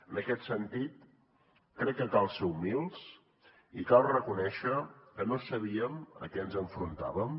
en aquest sentit crec que cal ser humils i cal reconèixer que no sabíem a què ens enfrontaven